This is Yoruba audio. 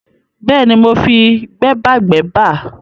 Bẹ́ẹ̀ni, mo fi gbẹ́bàgbẹ́bà